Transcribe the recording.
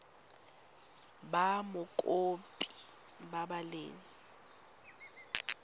ba mokopi ba ba leng